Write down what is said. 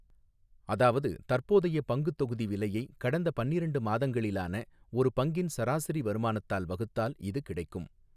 அதாவது, தற்போதைய பங்குத் தொகுதி விலையை கடந்த பன்னிரண்டு மாதங்களிலான ஒரு பங்கின் சராசரி வருமானத்தால் வகுத்தால் இது கிடைக்கும்.